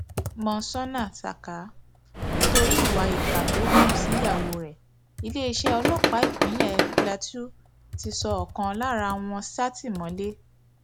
monsónà saka nítorí ìwà ìkà tó hù síyàwó rẹ iléeṣẹ ọlọpàá ìpínlẹ plateau ti sọ ọkan lára wọn sátìmọlé